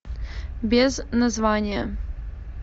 без названия